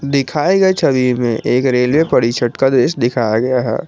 दिखाए गए छवि में एक रेलवे परिषद का दृश्य दिखाया गया है।